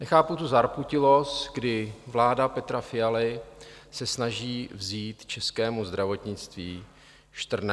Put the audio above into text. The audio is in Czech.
Nechápu tu zarputilost, kdy vláda Petra Fialy se snaží vzít českému zdravotnictví 14 miliard.